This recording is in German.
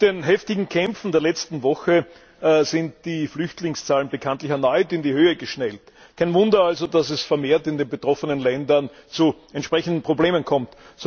Mit den heftigen Kämpfen der letzten Woche sind die Flüchtlingszahlen bekanntlich erneut in die Höhe geschnellt. Kein Wunder also, dass es vermehrt in den betroffenen Ländern zu entsprechenden Problemen kommt.